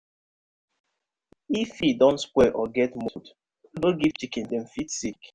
if feed don spoil or get mould no give chicken dem fit sick.